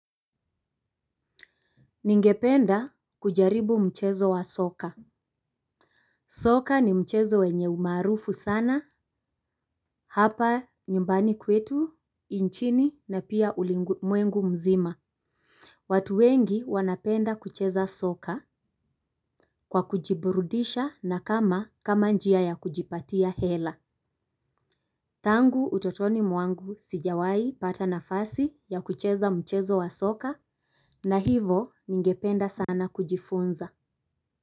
Ningependa kujaribu mchezo wa soka. Soka ni mchezo wenye umaarufu sana, hapa nyumbani kwetu, inchini na pia ulimwengu mzima. Watu wengi wanapenda kucheza soka, kwa kujiburudisha na kama njia ya kujipatia hela. Tangu utotoni mwangu, sijawai pata nafasi ya kucheza mchezo wa soka. Na hivo ningependa sana kujifunza.